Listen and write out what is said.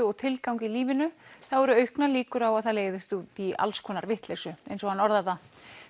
og tilgang í lífinu þá eru auknar líkur á að það leiðist út í alls konar vitleysu eins og hann orðar það